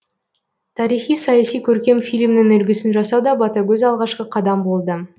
тарихи саяси көркем фильмнің үлгісін жасауда ботагөз алғашқы қадам болды